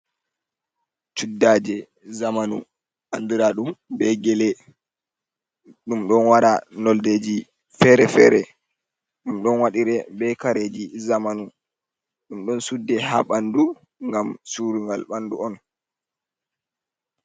Cuddaje zamanu andura dum be gele ɗum ɗon wara noldeji fere-fere ɗum ɗon waɗire be kareji zamanu ɗum ɗum ɗo sudde ha ɓandu gam surugal ɓandu on.